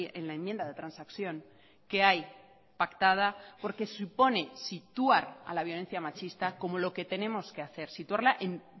en la enmienda de transacción que hay pactada porque supone situar a la violencia machista como lo que tenemos que hacer situarla en